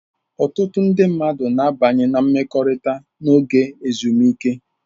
Ọtụtụ ndị mmadụ na-abanye na mmekọrịta n'oge ezumike.